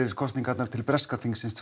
í kosningunum til breska þingsins